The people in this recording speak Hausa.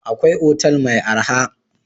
Akwai otal mai arha.